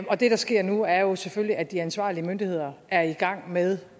og det der sker nu er selvfølgelig at de ansvarlige myndigheder er i gang med